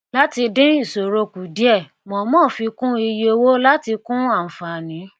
láti dín ìṣòro kù díẹ mọọmọ fi kún iye owó láti kún ànfàní